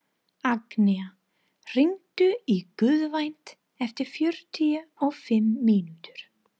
Agnea, hringdu í Gunnvant eftir fjörutíu og fimm mínútur.